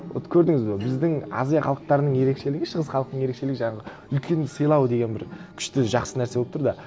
вот көрдіңіз бе біздің азия халықтарының ерекшелігі шығыс халықтың ерекшелігі жаңағы үлкенді сыйлау деген бір күшті жақсы нәрсе болып тұр да